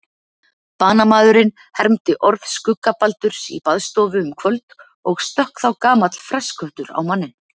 Banamaðurinn hermdi orð skuggabaldurs í baðstofu um kvöld og stökk þá gamall fressköttur á manninn: